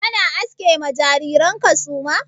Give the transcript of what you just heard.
Kana aske ma jariran ka suma?